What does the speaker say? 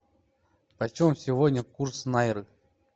почем сегодня курс найры